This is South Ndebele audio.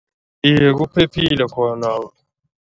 Iye, kuphephile khona.